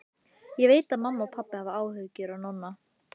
Ég veit að mamma og pabbi hafa áhyggjur af Nonna.